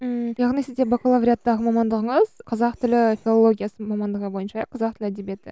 ммм яғни сізде бакалавриаттағы мамандығыңыз қазақ тілі филологиясы мамандығы бойынша қазақ тілі әдебиеті